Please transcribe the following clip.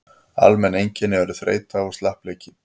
almenn einkenni eru þreyta og slappleiki